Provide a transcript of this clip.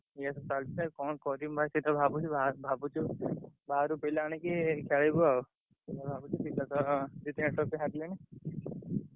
Match ଚାଲିଚି ଆଉ କଣ କରିବୁ ଭାଇ ସେଇଟା ଭାବୁଛୁ ଭା ଭାବୁଛୁ ବାହାରୁ ପିଲା ଆଣିକି ଖେଳିବୁ ଆଉ ଏୟା ଭାବୁଛି ଦି ତିନିଥର ସେ ହାରିଲେଣି ।